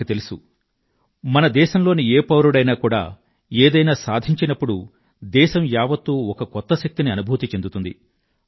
మనకు తెలుసు మన దేశంలోని ఏ పౌరుడైనా కూడా ఏదైనా సాధించినప్పుడు దేశం యావత్తూ ఒక కొత్త శక్తిని అనుభూతి చెందుతుంది